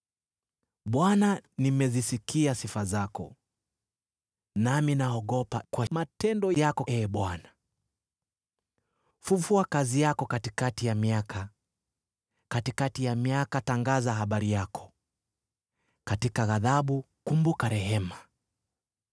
Bwana , nimezisikia sifa zako; nami naogopa kwa matendo yako, Ee Bwana . Fufua kazi yako katikati ya miaka, katikati ya miaka tangaza habari yako; katika ghadhabu kumbuka rehema.